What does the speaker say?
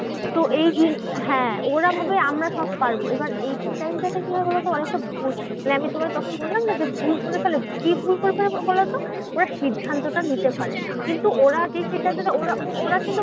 হ্যাঁ ওরা ভাবে আমরা সব পারবো। এবার এই time টা তে কি হয় বলোতো? অনেকটা বোঝ মানে আমি তোমায় তখন বললাম না যে, ভুল করে ফেলে। কি ভুল করে ফেলে বলোতো? ওরা সিদ্ধান্তটা নিতে পারে না। কিন্তু ওরা যে সেটা ওরা ও ওরা কিন্তু